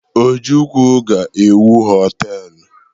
Ojukwu ga-ewu họtelụ.